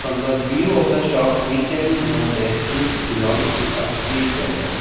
and the view of the shop we can know that this belongs to a street vendor.